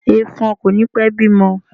Ẹ̀fọ̀n kò ní pẹ́ bímọ.